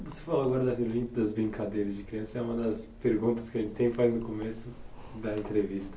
Você falou agora da Vila Olimpia das brincadeiras de criança, é uma das perguntas que a gente sempre faz no começo da entrevista.